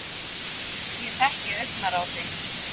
Ég þekki augnaráð þitt.